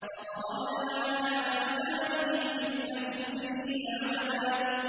فَضَرَبْنَا عَلَىٰ آذَانِهِمْ فِي الْكَهْفِ سِنِينَ عَدَدًا